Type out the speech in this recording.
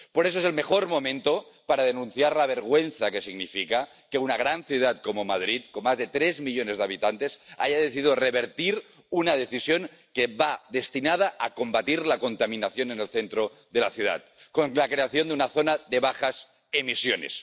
Por eso es el mejor momento para denunciar la vergüenza que significa que una gran ciudad como Madrid, con más de tres millones de habitantes, haya decidido revertir una decisión que va destinada a combatir la contaminación en el centro de la ciudad con la creación de una zona de bajas emisiones.